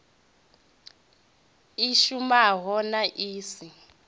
i shumaho na i si